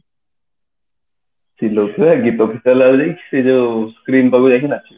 ଚିଲଉ ଥିବେ ଗୀତ ଫିତ ଲଗେଇକି ସେ ଯୋଉ screen ତାକୁ ଦେଖିନ